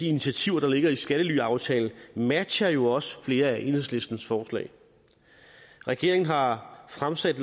initiativer der ligger i skattelyaftalen matcher jo også flere af enhedslistens forslag regeringen har fremsat